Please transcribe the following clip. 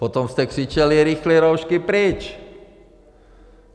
Potom jste křičeli - rychle roušky pryč!